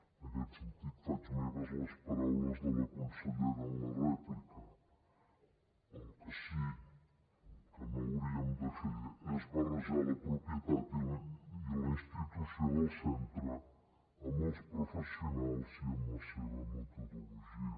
en aquest sentit faig meves les paraules de la consellera en la rèplica el que sí que no hauríem de fer és barrejar la propietat i la institució del centre amb els professionals i amb la seva metodologia